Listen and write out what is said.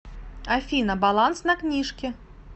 афина баланс на книжке